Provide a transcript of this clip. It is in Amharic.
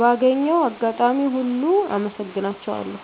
ባገኘሁት አጋጣሚ ሁሉ አመሰግናቸዋለሁ።